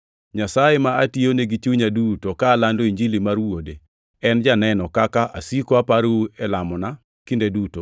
Nyasaye ma atiyone gi chunya duto, ka alando Injili mar Wuode, en janenona kaka asiko aparou e lamona kinde duto